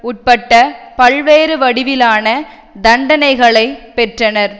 உட்பட்ட பல்வேறு வடிவிலான தண்டனைகளைப் பெற்றனர்